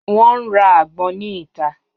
Wọn n ra agbon ni ita.